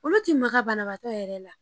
Olu ti maka banabaatɔ yɛrɛ la.